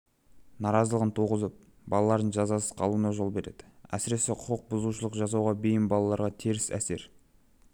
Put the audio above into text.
наразылығын туғызып балалардың жазасыз қалуына жол береді әсіресе құқық бұзушылық жасауға бейім балаларға теріс әсер